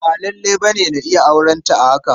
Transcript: Ba lalle ne na iya aurenta a haka.